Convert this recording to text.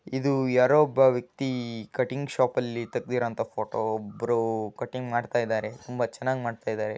ಇದು ಯಾರೋ ಒಬ್ಬ ವ್ಯಕ್ತಿ ಕಟಿಂಗ್ ಶಾಪ ಅಲ್ಲಿ ತೆಗೆದಿರುವಂತ ಫೋಟೋ ಒಬ್ಬರು ಕಟಿಂಗ್ ಮಾಡತ ಇದ್ದಾರೆ ತುಂಬಾ ಚೆನ್ನಾಗಿ ಮಾಡ್ತಾ ಇದ್ದಾರೆ.